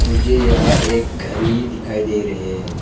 मुझे यहां एक घड़ी दिखाई दे रहे है।